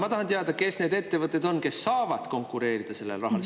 Ma tahan teada, kes on need ettevõtted, kes saavad konkureerida sellele rahale.